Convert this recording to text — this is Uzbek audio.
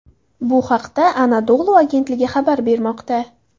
Bu haqda Anadolu agentligi xabar bermoqda .